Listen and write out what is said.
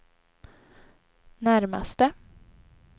närmaste